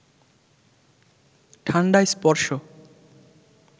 ঠান্ডা স্পর্শ